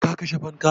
Ka kashe fanka?